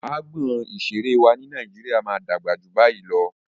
Agbọn ìseré wa ni Nàíjíríà máa dàgbà ju bayii lọ.